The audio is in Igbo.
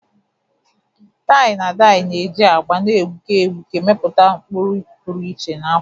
Tai-na-dayi na-eji agba na-egbuke egbuke mepụta ụkpụrụ pụrụ iche na akwa